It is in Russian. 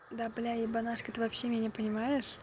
да бля ебанашка ты вообще меня понимаешь